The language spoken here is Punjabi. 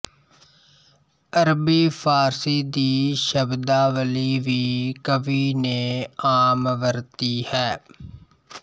ਅਰਬੀ ਫਾਰਸੀ ਦੀ ਸ਼ਬਦਾਵਲੀ ਵੀ ਕਵੀ ਨੇ ਆਮ ਵਰਤੀ ਹੈ